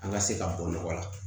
An ka se ka bɔ nɔgɔ la